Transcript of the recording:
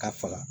Ka faga